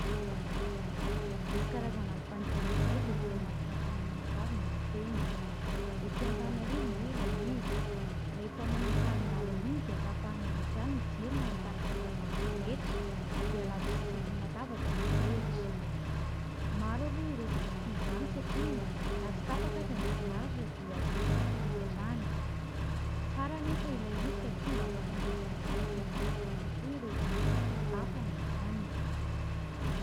Nisy karazana alim-pandizana izay, izay tena mahafinaritra anay mianakavy ny mankeny ; etỳ Antananarivo moa ilay izy. Rehefa manomboka alindalina iny dia tapahany avy hatrany ny jiro na ny taratra hazavana rehetra, dia labozia isaky ny latabatra no arehitra. Maro aloha ireo izay tsy tia izany satria na tsy tapaka aza ny herinaratra dia toy izany hatrany hatrany. Tsara anefa ilay izy satria mba afaka miresadresaka sy nifanakaiky kokoa ireo olona miara-mitafa noho izany.